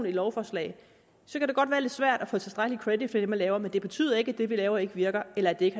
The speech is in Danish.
i lovforslaget så kan det godt være lidt svært at få tilstrækkelig credit for det man laver men det betyder ikke at det vi laver ikke virker eller at det ikke